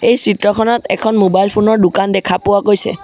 এই চিত্ৰখনত এখন মোবাইল ফোন ৰ দোকান দেখা পোৱা গৈছে।